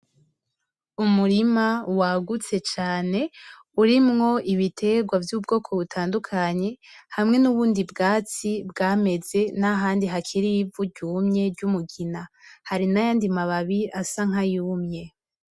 Umurima wagutse cane urimwo ibiterwa vy'ubwoko butandukanye hamwe n'ubundi bwatsi bwameze n'ahandi hakiri vuryumye ry'umugina hari na yandimababi asa nkayumye.